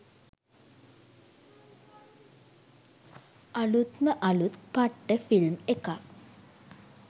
අළුත්ම අළුත් පට්ට ෆිල්ම් එකක්